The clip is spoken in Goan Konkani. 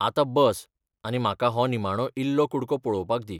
आतां बस आनी म्हाका हो निमाणो इल्लो कुडको पळोवपाक दी.